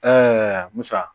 musa